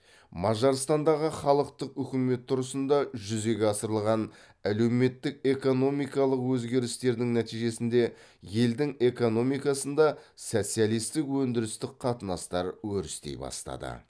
мажарстандағы халықтық үкімет тұрысында жүзеге асырылған әлеуметтік экономикалық өзгерістердің нәтижесінде елдің экономикасында социалисттік өндірістік қатынастар өрістей бастады